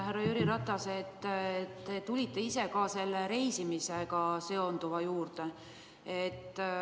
Härra Jüri Ratas, te tulite ise reisimisega seonduva juurde.